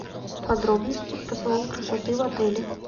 подробности про салон красоты в отеле